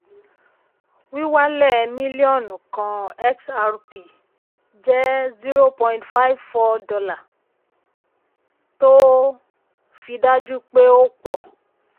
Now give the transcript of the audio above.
wíwálẹ̀ mílíọnù kan xrp jẹ́ $0.54 um tó um fi dájú pé ó pọ̀.